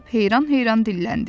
sincab heyran-heyran dilləndi.